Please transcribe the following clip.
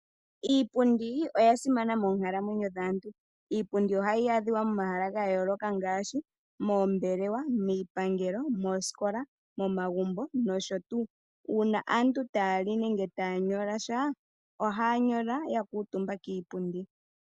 Iipundi oya simana moonkalamwenyo dhaantu. Iipundi ohayi adhiwa momahala ga yooloka ngaashi moombelewa, miipangelo, moosikola, momagumbo nosho tuu. Uuna aantu taya li nenge taya nyola sha, ohaya nyola ya kuutumba kiipundi.